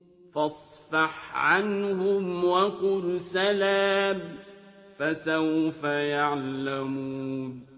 فَاصْفَحْ عَنْهُمْ وَقُلْ سَلَامٌ ۚ فَسَوْفَ يَعْلَمُونَ